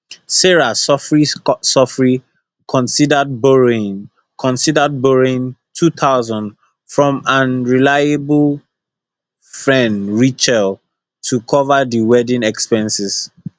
sarah sofri sofri considered borrowing considered borrowing two thousand from am reliable fren rachel to cover di wedding expenses